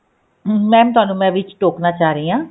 mam ਤੁਹਾਨੂੰ ਮੈਂ ਵਿੱਚ ਟੋਕਣਾ ਚਾਹ ਰਹੀ ਹਾਂ